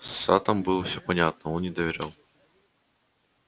с саттом было все понятно он не доверял